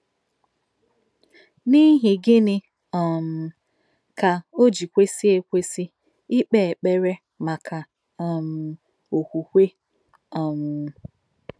N’ìhì gị̀nị̀ um kà ò jí kwèsì èkwèsì ìkpè ékperè m̀ákà um òkwùkwè? um